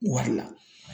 Wari la